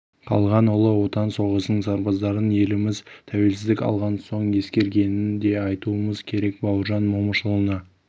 қалған ұлы отан соғысының сарбаздарын еліміз тәуелсіздік алған соң ескергенін де айтуымыз керек бауыржан момышұлына